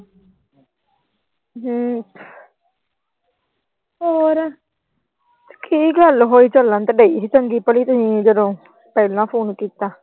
ਕੀ ਗੱਲ ਹੋਈ ਚੱਲਣ ਤਾਂ ਪਈ ਸੀ ਤੁਸੀਂ ਜਦੋਂ ਪਹਿਲਾ ਫੋਨ ਕੀਤਾ।